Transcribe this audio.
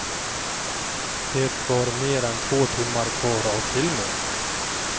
Det var mer än två timmar kvar av filmen.